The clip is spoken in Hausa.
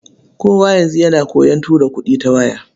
Kowa yanzu yana koyon tura kuɗi ta waya.